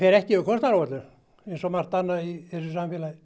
ekki yfir kostnaðaráætlun eins og margt annað í þessu samfélagið